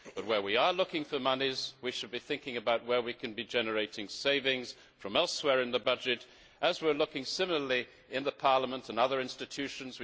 Where we are looking for monies we should be thinking about where we can be generating savings from elsewhere in the budget, as we are looking to do in Parliament and in the other institutions.